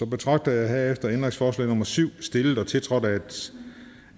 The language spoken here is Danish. betragter herefter ændringsforslag nummer syv stillet og tiltrådt